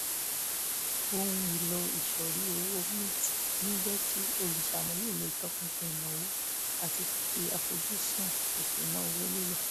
ohun èlò ìsọ̀rí owó mint ń jẹ́ kí olùṣàmúlò lè tọpinpin ìnáwó àti fífi àfojúsùn ìṣúnná owó lélẹ̀